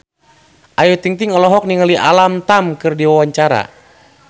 Ayu Ting-ting olohok ningali Alam Tam keur diwawancara